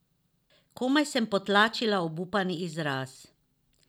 Komaj sem potlačila obupani izraz.